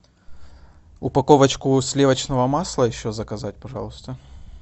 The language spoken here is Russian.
упаковочку сливочного масла еще заказать пожалуйста